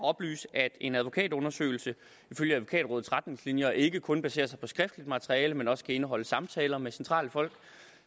oplyse at en advokatundersøgelse ifølge advokatrådets retningslinjer ikke kun baserer sig på skriftligt materiale men også kan indeholde samtaler med centrale folk